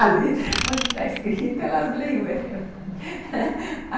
Ali onde está escrito, elas leem.